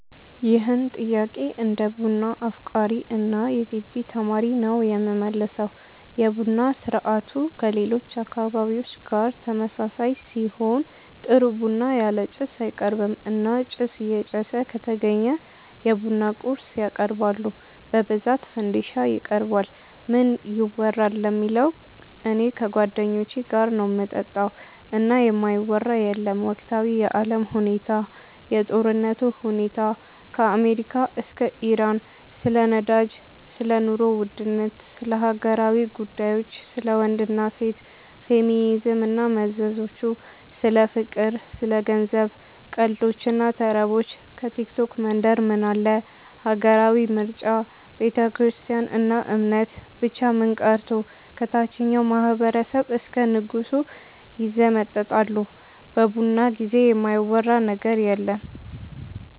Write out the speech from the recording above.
ይህን ጥያቄ እንደ ቡና አፍቃሪ እና የገቢ ተማሪ ነው የምመልሰው። የቡና ስርአቱ ከሌሎች አካባቢዎች ጋር ተመሳሳይ ሲሆን ጥሩ ቡና ያለ ጭስ አይቀርብም እና ጭስ እየጨሰ ከተገኘ የቡና ቁርስ ያቀርባሉ በብዛት ፈንዲሻ ይቀርባል። ምን ይወራል ለሚለው እኔ ከጓደኞቼ ጋር ነው ምጠጣው እና የማይወራ የለም ወቅታዊ የአለም ሁኔታ፣ የጦርነቱ ሁኔታ ከአሜሪካ እስከ ኢራን፣ ስለ ነዳጅ፣ ስለ ኑሮ ውድነት፣ ስለ ሀገራዊ ጉዳዮች፣ ስለ ወንድ እና ሴት፣ ፌሚኒዝም እና መዘዞቹ፣ ስለ ፍቅር፣ ስለ ገንዘብ፣ ቀልዶች እና ተረቦች፣ ከቲክቶክ መንደር ምን አለ፣ ሀገራዊ ምርጫ፣ ቤተክርስትያን እና እምነት፣ ብቻ ምን ቀርቶ ከታቸኛው ማህበረሰብ እስከ ንጉሱ ይዘመጠጣሉ በቡና ጊዜ የማይወራ ነገር የለም።